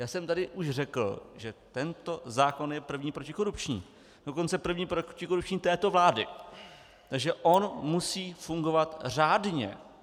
Já jsem tady už řekl, že tento zákon je první protikorupční, dokonce první protikorupční této vlády, takže on musí fungovat řádně.